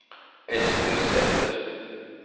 Esther Sæter